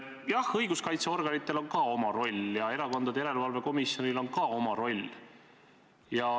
Jah, õiguskaitseorganitel on oma roll ja Erakondade Rahastamise Järelevalve Komisjonil on ka oma roll.